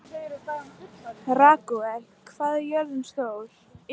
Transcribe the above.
Ragúel, hvað er jörðin stór?